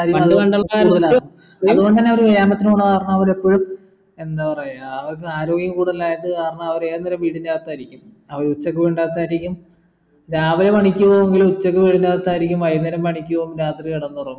പണ്ട് പണ്ടൽക്കാർക്ക് അത് കൊണ്ടെന്നവർ വ്യായാമത്തിന് പോകുന്ന കാരണ അവർ എപ്പോഴും എന്താ പറയാ അവർക്ക് ആരോഗ്യം കൂടുതലായത് കാരണം അവർ ഏത് നേരവും വീട്ടിനകത്തായിരിക്കും അവർ ഉച്ചക്ക് വീടിനകത്തായിരിക്കും രാവിലെ പണിക്ക് പോകെങ്കിലും ഉച്ചയ്‌ക് വീട്ടിനകത്തായിരിക്കും വെയ്കുന്നേരം പണിക്ക് പോകും രാത്രി കിടന്നുറങ്ങും